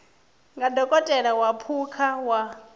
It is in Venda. nga dokotela wa phukha wa